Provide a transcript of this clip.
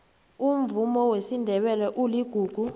umvumo wesindebele uligugu